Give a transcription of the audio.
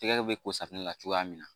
Tɛgɛ bɛ ko safunɛ na cogoya min na